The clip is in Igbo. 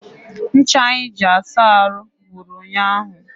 Ncha anyị ji asa ahụ gwụrụ ụnyaahụ.